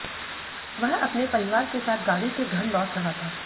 वह अपने परिवार के साथ गाड़ी से घर लौट रहा था